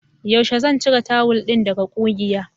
Yaushe zan cire tawul ɗin daga ƙugiya?